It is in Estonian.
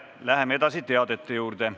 Läheme teadete juurde.